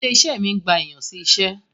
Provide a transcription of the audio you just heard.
Ilé-iṣé mi ń gba èèyan sí iṣẹ́.